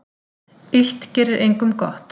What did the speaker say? Illt gerir engum gott.